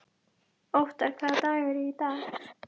Othar, hvaða dagur er í dag?